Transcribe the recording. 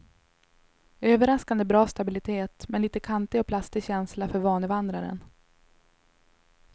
Överraskande bra stabilitet, men lite kantig och plastig känsla för vanevandraren.